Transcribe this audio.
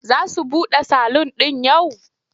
Za su buɗe salun ɗin yau?